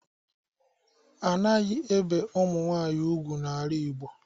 Anaghi ebe umunwaanyi ùgwú ala igbo.